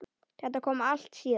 Þetta kom allt síðar.